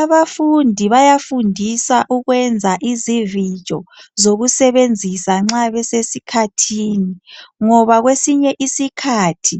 abafundi bayafundisa ukwenza izivijo zokusebenzisa nxa besesikhathini ngoba kwesinye isikhathi